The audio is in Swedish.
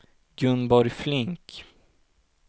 Gunborg Flink